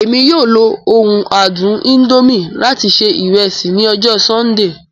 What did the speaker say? Emi yoo lo oun adun indomie lati ṣe iresi ni ọjọ Sundee.